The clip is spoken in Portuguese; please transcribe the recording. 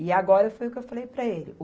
E agora foi o que eu falei para ele.